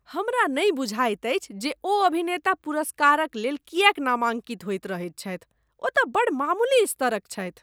हमरा नहि बुझाइत अछि जे ओ अभिनेता पुरस्कारक लेल किएक नामांकित होइत रहैत छथि। ओ तँ बड़ मामूली स्तरक छथि।